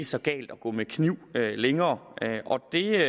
så galt at gå med kniv længere og det